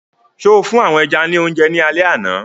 So fún àwọn ẹja ní oúnjẹ ní alẹ àná?